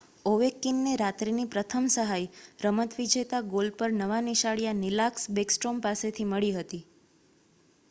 ઓવેકકીનને રાત્રિની પ્રથમ સહાય રમત-વિજેતા ગોલ પર નવા નિશાળિયા નિક્લાસ બેકસ્ટ્રોમ પાસેથી મળી હતી